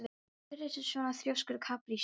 Af hverju ertu svona þrjóskur, Kaprasíus?